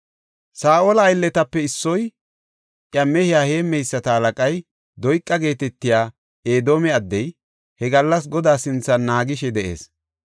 Saa7ola aylletape issoy, iya mehiya heemmeyisata halaqay, Doyqa geetetiya Edoome addey, he gallas Godaa sinthan naagishe de7ees.